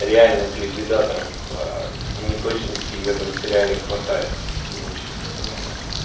реальных ликвидаторов ээ неточностей в этом сериале хватает и очень много